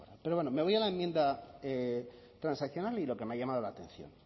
pero bueno me voy a la enmienda transaccional y lo que me ha llamado la atención